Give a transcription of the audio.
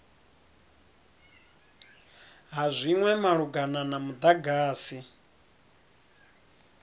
ha zwinwe malugana na mudagasi